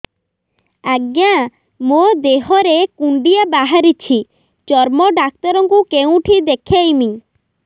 ଆଜ୍ଞା ମୋ ଦେହ ରେ କୁଣ୍ଡିଆ ବାହାରିଛି ଚର୍ମ ଡାକ୍ତର ଙ୍କୁ କେଉଁଠି ଦେଖେଇମି